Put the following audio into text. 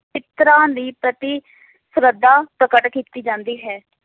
ਪਿਤ੍ਰਾਂ ਦੀ ਪ੍ਰਤੀ ਸ਼ਰਧਾ ਪ੍ਰਕਟ ਕੀਤੀ ਜਾਂਦੀ ਹੈ